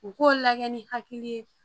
U k'o lagɛ ni hakili ye